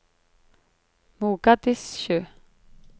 Mogadishu